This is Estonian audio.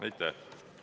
Aitäh!